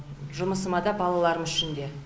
жұмысыма да балаларым үшін де